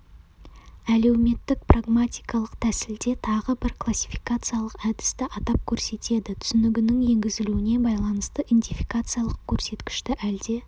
әлеуметтік-прагматикалық тәсілде тағы бір классификациялық әдісті атап көрсетеді түсінігінің енгізілуіне байланысты индификациялық көрсеткішті әлде